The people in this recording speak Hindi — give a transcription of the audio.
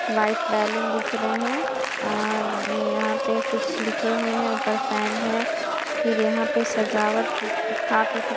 व्हाइट बैलून दिख रहे हैं और यहां पे कुछ लिखे हुए हैं ऊपर फैन है फिर यहां पे सजावट ल काफी --